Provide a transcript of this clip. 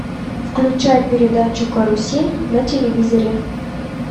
включай передачу карусель на телевизоре